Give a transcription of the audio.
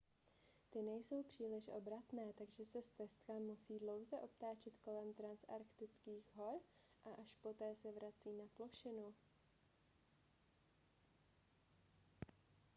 ty nejsou příliš obratné takže se stezka musí dlouze obtáčet kolem transanktartických hor a až poté se vrací na plošinu